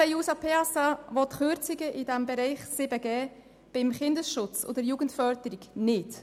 Die SP-JUSOPSA-Fraktion will keine Kürzungen im Bereich Kinder- und Jugendschutz.